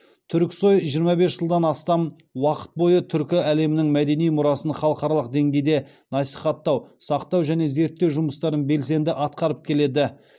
түрксой жиырма бес жылдан астам уақыт бойы түркі әлемінің мәдени мұрасын халықаралық деңгейде насихаттау сақтау және зерттеу жұмыстарын белсенді атқарып келеді